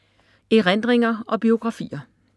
Erindringer og biografier